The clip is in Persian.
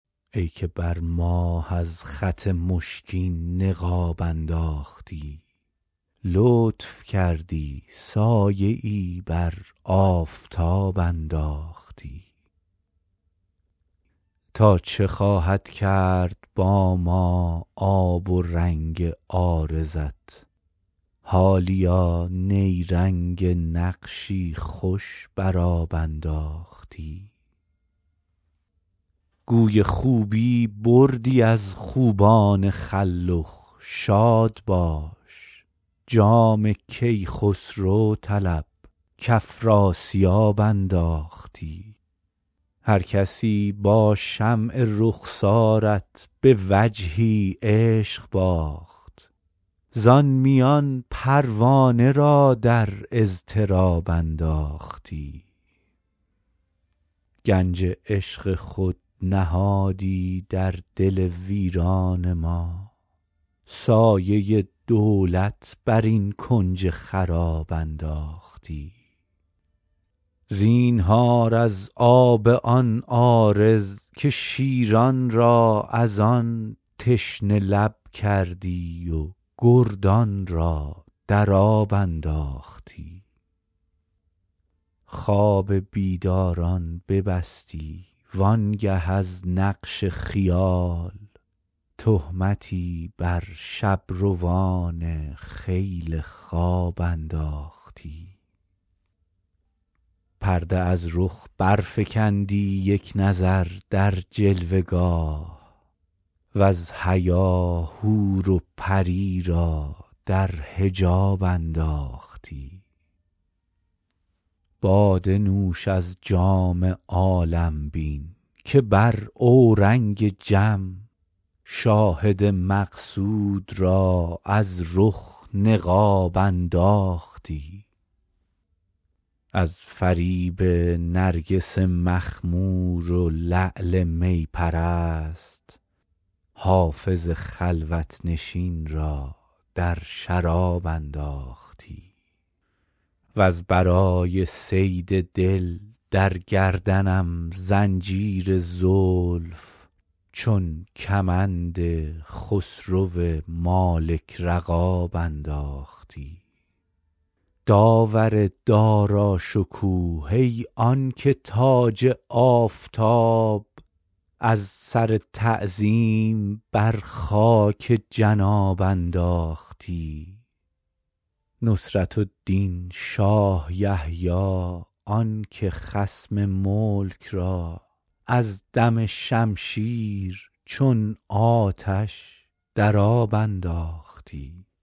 ای که بر ماه از خط مشکین نقاب انداختی لطف کردی سایه ای بر آفتاب انداختی تا چه خواهد کرد با ما آب و رنگ عارضت حالیا نیرنگ نقشی خوش بر آب انداختی گوی خوبی بردی از خوبان خلخ شاد باش جام کیخسرو طلب کافراسیاب انداختی هرکسی با شمع رخسارت به وجهی عشق باخت زان میان پروانه را در اضطراب انداختی گنج عشق خود نهادی در دل ویران ما سایه دولت بر این کنج خراب انداختی زینهار از آب آن عارض که شیران را از آن تشنه لب کردی و گردان را در آب انداختی خواب بیداران ببستی وآن گه از نقش خیال تهمتی بر شب روان خیل خواب انداختی پرده از رخ برفکندی یک نظر در جلوه گاه وز حیا حور و پری را در حجاب انداختی باده نوش از جام عالم بین که بر اورنگ جم شاهد مقصود را از رخ نقاب انداختی از فریب نرگس مخمور و لعل می پرست حافظ خلوت نشین را در شراب انداختی وز برای صید دل در گردنم زنجیر زلف چون کمند خسرو مالک رقاب انداختی داور داراشکوه ای آن که تاج آفتاب از سر تعظیم بر خاک جناب انداختی نصرة الدین شاه یحیی آن که خصم ملک را از دم شمشیر چون آتش در آب انداختی